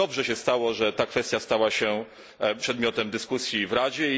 Dlatego dobrze się stało, że ta kwestia stała się przedmiotem dyskusji w Radzie.